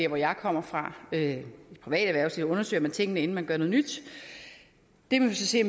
hvor jeg kommer fra i det private erhvervsliv undersøger man tingene inden man gør noget nyt det må vi så se